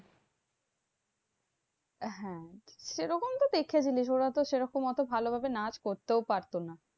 হ্যাঁ সেরকম তো দেখেছিলিস, ওরা তো সেরকম অত ভালোভাবে নাচ করতেও পারতো না?